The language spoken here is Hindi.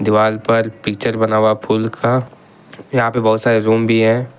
दीवार पर पिक्चर बना हुआ है फूल का यहां पे बहुत सारे रूम भी हैं।